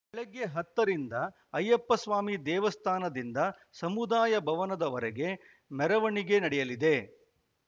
ಬೆಳಗ್ಗೆ ಹತ್ತರಿಂದ ಅಯ್ಯಪ್ಪಸ್ವಾಮಿ ದೇವಸ್ಥಾನದಿಂದ ಸಮುದಾಯ ಭವನದವರೆಗೆ ಮೆರವಣಿಗೆ ನಡೆಯಲಿದೆ